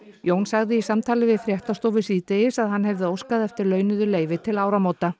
Jón sagði í samtali við fréttastofu síðdegis að hann hefði óskað eftir launuðu leyfi til áramóta